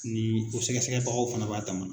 Ni o sɛgɛsɛgɛbagaw fana b'a dama na.